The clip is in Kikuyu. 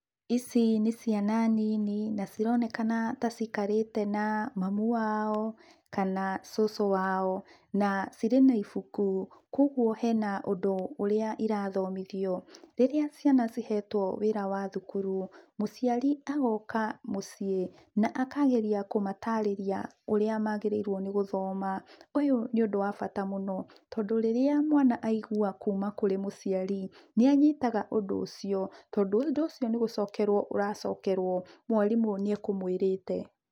Ici nĩ ciana nini, na cironekana ta ciĩkarĩte na mamũ wao, kana cucu wao, na cire na ĩbũku kogwo hena ũndũ ũrĩa irathomithio. Rĩrĩa ciana cihetwo wĩra wa thukuru, mũciari agoka mũciĩ, na akageria kũmatarĩria ũrĩa magĩrĩirwo nĩ gũthoma, ũyũ nĩ ũndũ wa bata mũno tondũ rĩrĩa mwana aĩgwa kuuma kũrĩ mũciari, nĩa nyitaga ũndũ ũcio tondũ ũndũ ũcio nĩ gũcokerwo ũracokerwo mwarimũ nĩe kũmwirĩte.